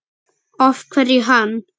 Af hverju hann?